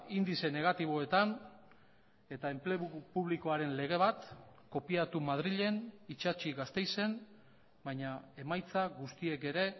indize negatiboetan eta enplegu publikoaren lege bat kopiatu madrilen itsatsi gasteizen baina emaitza guztiek ere